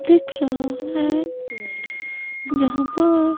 दिख रहा है जहां पर--